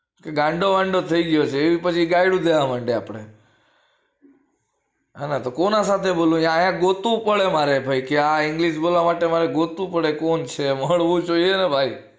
ગાંડો વાંડો થઈ ગયો છે એ પછી ગાળ્યું ગાવા માંડે આપડે હ કોના સાથે બોલું આયા ગોતું પડે મારે કે આ english બોલવા માટે ગોતવું પડે કોણ છે મળવું જોઈ એને ભાઈ